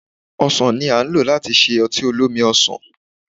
Ọsan ni a lò láti ṣe ọtí olómi-ọsàn